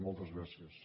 moltes gràcies